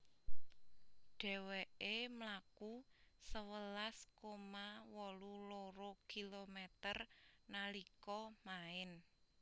Dhèwèkè mlaku sewelas koma wolu loro kilometer nalika maèn